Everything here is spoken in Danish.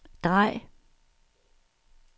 drej